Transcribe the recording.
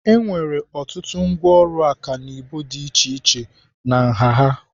Enwere ọtụtụ ngwaọrụ ọkanibo dị iche iche na nha ha.